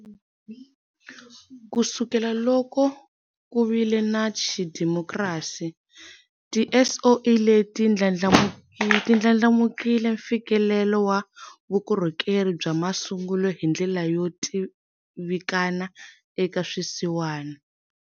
Kusukela loko ku vile na xidemokirasi, tiSOE leti ndlandlamukisile mfikelelo wa vukorhokeri bya masungulo hi ndlela yo tivikana eka swisiwana.